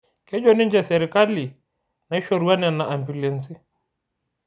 Kejo ninche sirkali naishorua nena ambiulensi